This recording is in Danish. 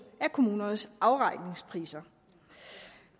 af kommunernes afregningspriser